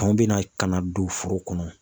Tɔn bɛna ka na don foro kɔnɔ.